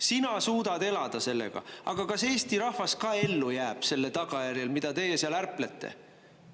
Sina suudad elada sellega, aga kas Eesti rahvas ka ellu jääb selle tagajärjel, mida teie seal ärplete.